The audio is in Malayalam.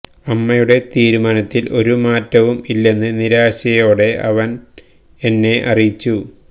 അമ്മയുടെ തീരുമാനത്തിൽ ഒരു മാറ്റവും ഇല്ലെന്ന് നിരാശയോടെ അവൻ എന്നെ അറിയിച്ചു